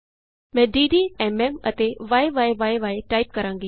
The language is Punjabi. ਮੈਂ ਡੱਡ ਐਮਐਮ ਅਤੇ ਯੀ ਟਾਈਪ ਕਰਾਂਗੀ